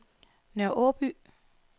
Nørre Aaby